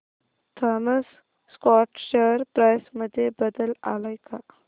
Thomas Scott share price मध्ये बदल आलाय का